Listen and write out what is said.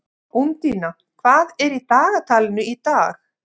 Úndína, hvað er í dagatalinu í dag?